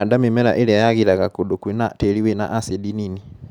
Handa mĩmera ĩria yagĩraga kundũ kwĩna tĩri wina acidi nini.